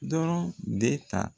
Dɔrɔn de ta.